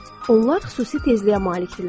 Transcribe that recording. Onlar xüsusi tezliyə malikdirlər.